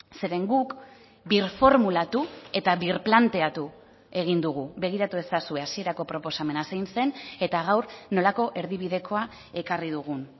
zeren guk birformulatu eta birplanteatu egin dugu begiratu ezazue hasierako proposamena zein zen eta gaur nolako erdibidekoa ekarri dugun